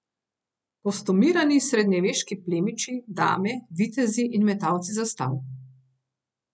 Kostumirani srednjeveški plemiči, dame, vitezi in metalci zastav.